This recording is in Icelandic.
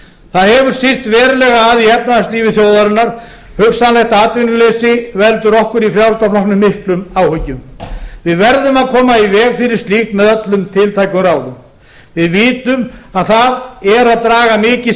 það hefur syrt verulega að í efnahagslífi þjóðarinnar hugsanlegt atvinnuleysi veldur okkur í frjálslynda flokknum miklum áhyggjum við verðum að koma í veg fyrir slíkt með öllum tiltækum ráðum við vitum að það er að draga mikið